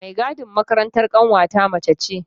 Mai gadin makarantar ƙanwata mace ce.